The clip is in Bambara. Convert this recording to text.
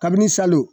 Kabini salo